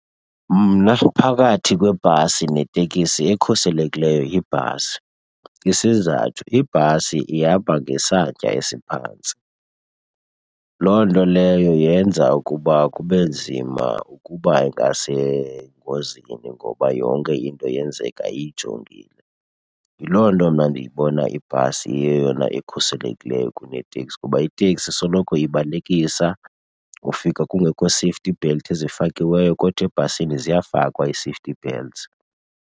Mna phakathi kwebhasi netekisi ekhuselekileyo yibhasi. Isizathu ibhasi ihamba ngesantya esiphantsi. Loo nto leyo yenza ukuba kube nzima ukuba ingasengozini ngoba yonke into yenzeka uyijongile. Yiloo nto mna ndiyibona ibhasi iyeyona ekhuselekileyo kuneteksi kuba iteksi isoloko ibalekisa, ufika kungekho safety belt ezifakiweyo kodwa ebhasini ziyafakwa ii-safety belts.